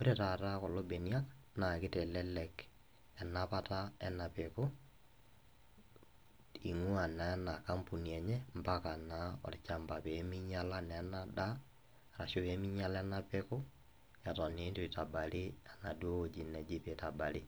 Ore taata kulo benia naa kitelelek enapata ena peku , ingwaa naa ena kampuni enye mpaka naa olchamba , peminyiala naa ena daa ashu peminyiala ena peku eton naa itu itabari enaduo wueji neji peitabari.